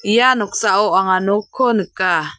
ia noksao anga nokko nika.